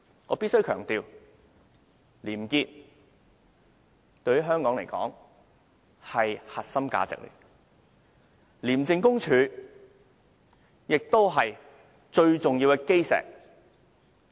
我必須強調，廉潔是香港的核心價值，廉署亦是香港最重要的基石。